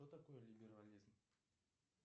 что такое либерализм